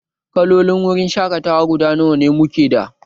Kalolin wurin shaƙatawa guda nawa mu ke da?